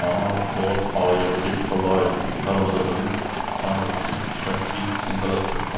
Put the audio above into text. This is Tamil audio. ஆனால் ஓர் ஆயிரத்தி தொள்ளாயிரத்தி அறுபதுகளில் தொடக்கத்தில் கட்சி சிங்களத்திற்கு